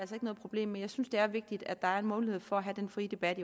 noget problem med jeg synes det er vigtigt at der er en mulighed for at have den frie debat